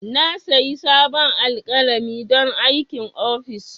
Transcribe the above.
Na sayi sabon alƙalami don aikin office.